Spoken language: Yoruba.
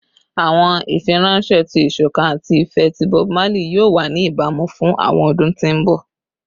Awọn ifiranṣẹ ti isokan ati ifẹ ti Bob Marley yoo wa ni ibamu fun awọn ọdun ti mbọ